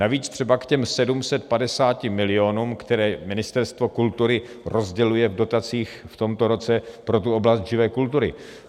Navíc třeba k těm 750 milionům, které Ministerstvo kultury rozděluje v dotacích v tomto roce pro tu oblast živé kultury.